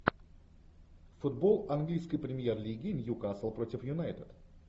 футбол английской премьер лиги ньюкасл против юнайтед